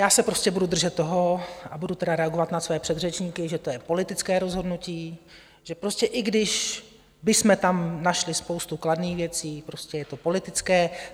Já se prostě budu držet toho, a budu teda reagovat na své předřečníky, že to je politické rozhodnutí, že prostě i když bychom tam našli spoustu kladných věcí, prostě je to politické.